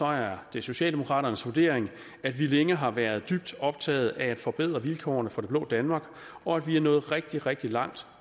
er det socialdemokraternes vurdering at vi længe har været dybt optaget af at forbedre vilkårene for det blå danmark og at vi er nået rigtig rigtig langt